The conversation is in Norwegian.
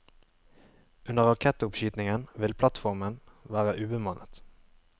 Under rakettoppskytingen vil plattformen være ubemannet.